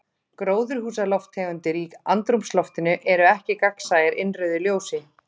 Gróðurhúsalofttegundir í andrúmsloftinu eru ekki gagnsæjar innrauðu ljósi.